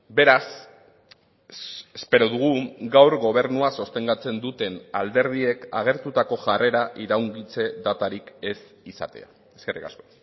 beraz espero dugu gaur gobernua sostengatzen duten alderdiek agertutako jarrera iraungitze datarik ez izatea eskerrik asko